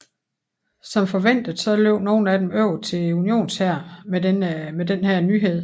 Som forventet løb nogle af dem over til unionshæren med denne nyhed